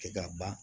Kɛ ka ban